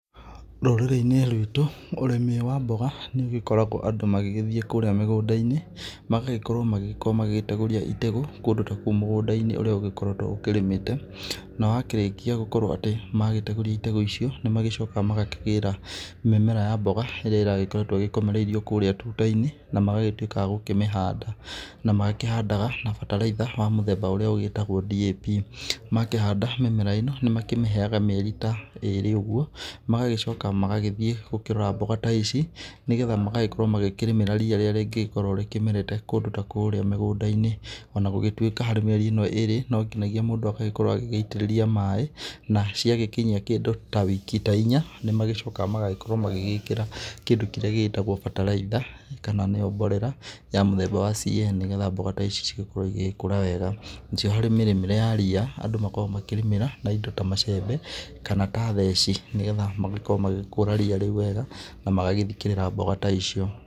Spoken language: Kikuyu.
Rũrĩrĩ-inĩ ruitũ ũrĩmi wa mboga nĩ ũgĩkoragwo andũ magĩgĩthiĩ kũrĩa mĩgũnda-inĩ magagĩkorwo magĩkorwo magĩteguria mategũ kũndũ ta kũu mũgũnda-inĩ ũrĩa ũgĩkoretwo ũrĩmĩte. Na wakĩrĩkia gũkorwo atĩ magĩtegũria itegũ icio nĩ magĩcokaga magakĩgĩra mĩmera ya mboga ĩrĩa ĩragĩkoretwo ĩgĩkomereirio kũu tuta-inĩ na magagĩtuĩka a gũkĩmĩhanda. Na makĩhandaga na bataraitha wa mũthemba ũrĩa ũgĩtagwo DAP makĩhanda mĩmera ĩno, nĩ makĩmĩheaga mĩeri ta ĩrĩ ũguo. Magagĩcoka magagĩthiĩ gũkĩrora mboga ta ici nĩ getha magagĩkorwo magĩkĩrĩmĩra ria rĩrĩ rĩngĩkorwo rĩkĩmerete kũndũ ta kũrĩa mĩgũnda-inĩ .Ona gũgĩtuĩka mĩeri ĩno ĩri no nginagia mũndũ agagĩkorwo agĩgĩitĩrĩria maaĩ na caigĩkinyia kĩndũ ta wiki ta inya nĩ magĩcokaga magagĩkorwo magĩgĩkĩra kũndũ kĩrĩa gĩgĩtagwo bataraitha, kana nĩyo mborera ya mũthemba wa CN nĩ getha mboga ici cigĩkorwo igĩgĩkũra wega. Harĩ mĩrĩmĩre ya ria andũ makoragwo makĩrĩmĩra na indo ta macembe kana ta theci nĩ getha magĩkorwo magĩgĩkũra ria rĩu wega na magagĩthikĩrĩra mboga ta icio.